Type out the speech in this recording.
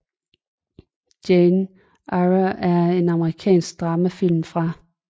Jane Eyre er en amerikansk dramafilm fra